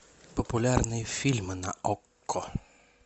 популярные фильмы на окко